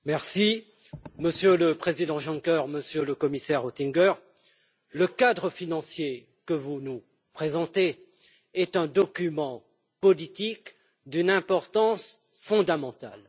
Monsieur le Président, Monsieur le Président Juncker, Monsieur le Commissaire Oettinger, le cadre financier que vous nous présentez est un document politique d'une importance fondamentale.